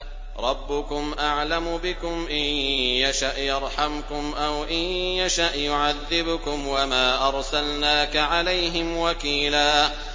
رَّبُّكُمْ أَعْلَمُ بِكُمْ ۖ إِن يَشَأْ يَرْحَمْكُمْ أَوْ إِن يَشَأْ يُعَذِّبْكُمْ ۚ وَمَا أَرْسَلْنَاكَ عَلَيْهِمْ وَكِيلًا